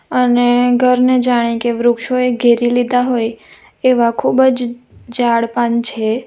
અને ઘરને જાણે કે વૃક્ષોએ ઘેરી લીધા હોય એવા ખૂબ જ ઝાડ પાન છે.